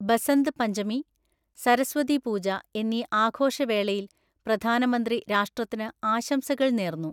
ബസന്ത് പഞ്ചമി, സരസ്വതി പൂജഎന്നീ ആഘോഷവേളയില് പ്രധാനമന്ത്രിരാഷ്ട്രത്തിന് ആശംസകള് നേര്ന്നു